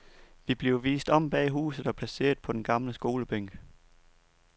Vi bliver vist om bag huset og placeret på den gamle skolebænk.